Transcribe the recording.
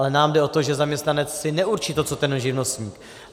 Ale nám jde o to, že zaměstnanec si neurčí to, co ten živnostník.